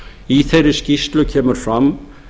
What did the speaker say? í þeirri skýrslu kemur fram